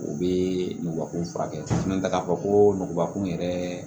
U bɛ nɔgɔkun furakɛ ka fɔ ko nɔgɔbakun yɛrɛ